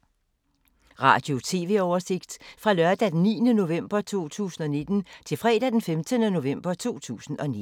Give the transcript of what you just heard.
Radio/TV oversigt fra lørdag d. 9. november 2019 til fredag d. 15. november 2019